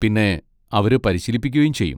പിന്നെ അവര് പരിശീലിപ്പിക്കുകയും ചെയ്യും.